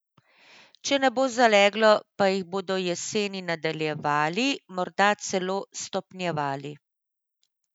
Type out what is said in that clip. Če ne bo zaleglo, pa jih bodo jeseni nadaljevali, morda celo stopnjevali.